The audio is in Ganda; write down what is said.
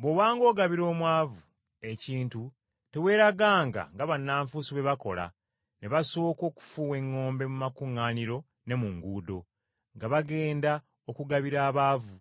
“Bw’obanga ogabira omwavu ekintu teweeraganga nga bannanfuusi bwe bakola ne basooka okufuuwa eŋŋombe mu makuŋŋaaniro ne mu nguudo, nga bagenda okugabira abaavu,